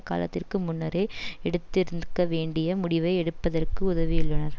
காலத்திற்கு முன்னரே எடுத்திருந்க்க வேண்டிய முடிவை எடுப்பதற்கு உதவியுள்ளனர்